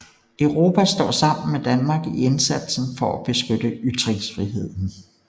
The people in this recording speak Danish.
Europa står sammen med Danmark i indsatsen for at beskytte ytringsfriheden